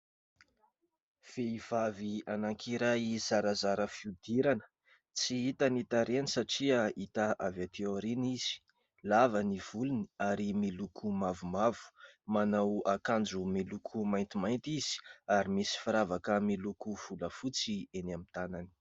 Vehivavy anankiray zarazara fiodirana. Tsy hita ny tarehany satria hita avy aty aorina izy. Lava ny volony ary miloko mavomavo. Manao akanjo miloko maintimainty izy ary misy firavaka miloko volafotsy eny amin'ny tànany.